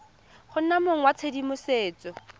go nna mong wa tshedimosetso